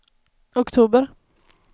oktober